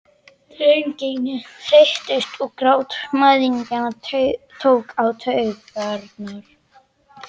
Drengirnir þreyttust og grátur mæðginanna tók á taugarnar.